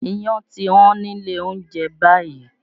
Iyán ti Wọ́n nílé oúnjẹ báyìí